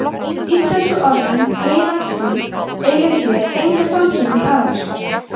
íslensku orðin „heilagt stríð“ eiga sér enga samsvörun í arabísku